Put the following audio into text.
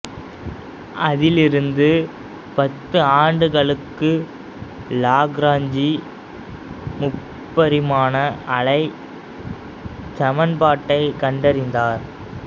அதிலிருந்து பத்து ஆண்டுகளுக்கு லாக்ராஞ்சி முப்பரிமாண அலைச் சமன்பாட்டை கண்டறிந்தார்